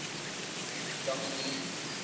dominee